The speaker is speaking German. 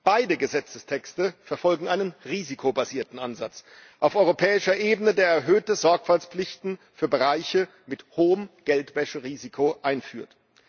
Beide Gesetzestexte verfolgen einen risikobasierten Ansatz auf europäischer Ebene, der erhöhte Sorgfaltspflichten für Bereiche mit hohem Geldwäscherisiko einführt.